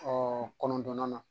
kɔnɔntɔnnan na